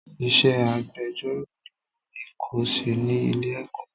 Iṣẹ́ agbejọ́rò ni mo ní ko ṣe ni Ilé-ẹ̀kọ́.